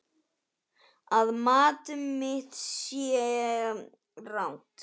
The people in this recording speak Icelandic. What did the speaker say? Að mat mitt sé rangt.